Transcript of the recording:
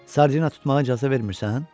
Sardina tutmağa icazə vermirsən?